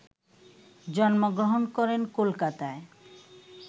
জন্মগ্রহণ করেন কোলকাতায়,